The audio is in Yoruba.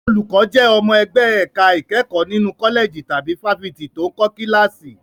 Olùkọ́ jẹ́ ọmọ ẹgbẹ́ ẹ̀ka ìkẹ́kọ̀ọ́ nínú kọ́lẹ̀jì tàbí fáfitì tó ń kọ́ kíláàsì.